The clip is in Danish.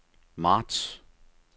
marts